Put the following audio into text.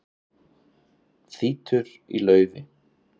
Þýtur í laufi